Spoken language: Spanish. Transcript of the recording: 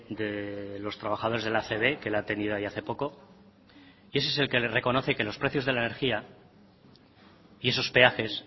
de los trabajadores del acb que la ha tenido hace poco y ese es el que le reconoce que los precios de la energía y esos peajes